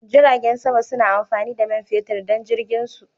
Jiragen sama suna amfani da man fetur don jirginsu.